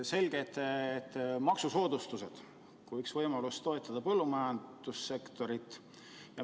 Selge see, et maksusoodustused on üks võimalus toetada põllumajandussektorit.